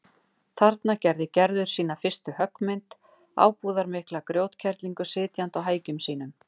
Þarna gerði Gerður sína fyrstu höggmynd, ábúðarmikla grjótkerlingu sitjandi á hækjum sínum.